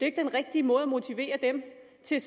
ikke den rigtige måde at motivere dem til